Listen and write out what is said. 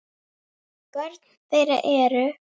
Börn þeirra eru.